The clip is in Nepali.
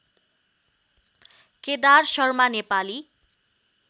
केदार शर्मा नेपाली